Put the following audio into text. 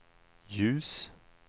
ljus